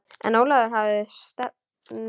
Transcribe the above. En Ólafur hafði stefnu.